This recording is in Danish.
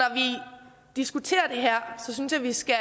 diskuterer det her synes jeg vi skal